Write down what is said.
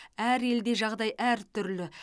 әр елде жағдай әртүрлі